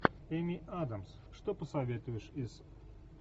эми адамс что посоветуешь из